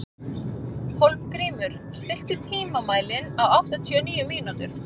Hólmgrímur, stilltu tímamælinn á áttatíu og níu mínútur.